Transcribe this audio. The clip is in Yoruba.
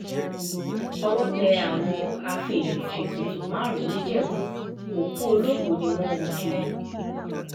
owó tẹ àwọn afèèyàn-ṣètùtù márùn-ún nìjẹ́bù òkú olókùú ni wọ́n ń kú kiri